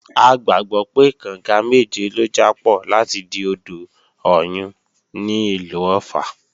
A gbàgbọ́ pé, kànga méje ló jápọ̀ láti di odò Ọ̀yun ní ìlú Ọ̀ffà